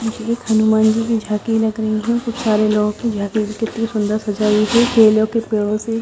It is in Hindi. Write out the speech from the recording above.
ये एक हनुमान जी की झाकी लग रही है कुछ लोगो की झाकी इतनी सुंदर सजाई गयी है केलो के पेड़ो से।